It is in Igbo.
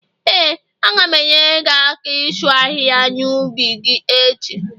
Ee, a ga m enyere gị aka ịsu ahịhịa n' ubi gị echi